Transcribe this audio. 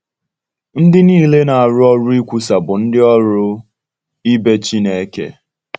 Ndị niile na-arụ ọrụ ikwusa bụ “ndị ọrụ ibe Chineke.”